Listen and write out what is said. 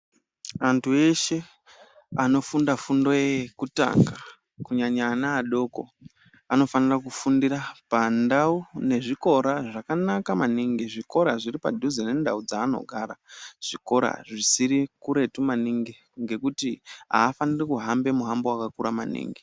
Antu eshe anofunda fundo iyoyo yekutanga kunyanya ana adoko anofanira kufundira pandau nezvikora zvakawanda maningi zvikora zviri padhuze mendau dzanogara zvikora zvisiri kuretu maningi ngekuti afanire kuhamba mushango wakakura.